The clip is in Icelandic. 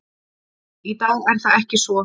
Í dag er það ekki svo.